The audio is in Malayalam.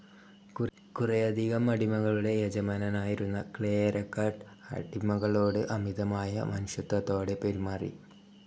കുറേയധികം അടിമകളുടെ യജമാനനായിരുന്ന ക്ലേയെരക്കട്ട് അടിമകളോട് അമിതമായ മനുഷ്യത്വത്തോടെ പെരുമാറി.